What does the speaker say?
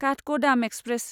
Kathgodam express